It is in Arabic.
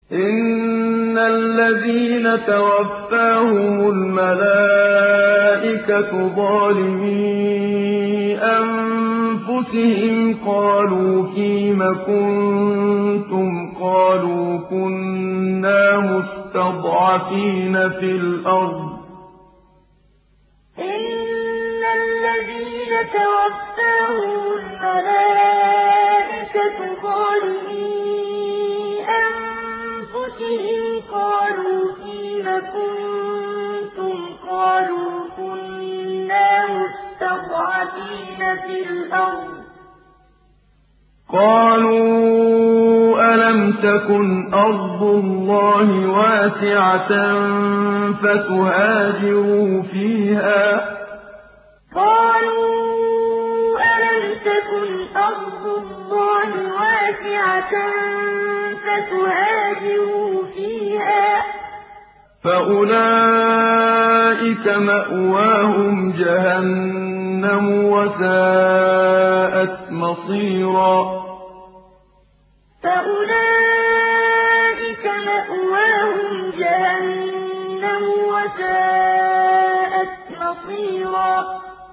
إِنَّ الَّذِينَ تَوَفَّاهُمُ الْمَلَائِكَةُ ظَالِمِي أَنفُسِهِمْ قَالُوا فِيمَ كُنتُمْ ۖ قَالُوا كُنَّا مُسْتَضْعَفِينَ فِي الْأَرْضِ ۚ قَالُوا أَلَمْ تَكُنْ أَرْضُ اللَّهِ وَاسِعَةً فَتُهَاجِرُوا فِيهَا ۚ فَأُولَٰئِكَ مَأْوَاهُمْ جَهَنَّمُ ۖ وَسَاءَتْ مَصِيرًا إِنَّ الَّذِينَ تَوَفَّاهُمُ الْمَلَائِكَةُ ظَالِمِي أَنفُسِهِمْ قَالُوا فِيمَ كُنتُمْ ۖ قَالُوا كُنَّا مُسْتَضْعَفِينَ فِي الْأَرْضِ ۚ قَالُوا أَلَمْ تَكُنْ أَرْضُ اللَّهِ وَاسِعَةً فَتُهَاجِرُوا فِيهَا ۚ فَأُولَٰئِكَ مَأْوَاهُمْ جَهَنَّمُ ۖ وَسَاءَتْ مَصِيرًا